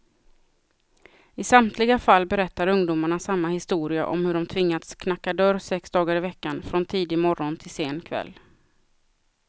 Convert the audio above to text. I samtliga fall berättar ungdomarna samma historia om hur de tvingats knacka dörr sex dagar i veckan, från tidig morgon till sen kväll.